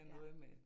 Ja